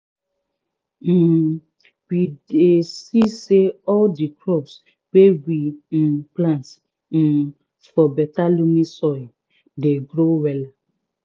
um we dey see say all di crops wey we um plant um for beta loamy soil dey grow wella